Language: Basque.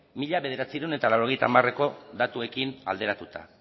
mila bederatziehun eta laurogeita hamareko datuekin alderatuta